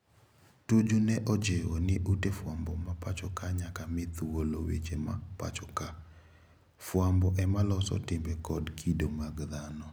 Tuju ne ojiwo ni ute fwambo ma pacho ka nyaka mi thuolo weche ma pacho ka. Fwambo ema loso timbe kod kido mag dhano.